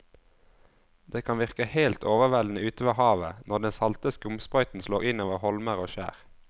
Det kan virke helt overveldende ute ved havet når den salte skumsprøyten slår innover holmer og skjær.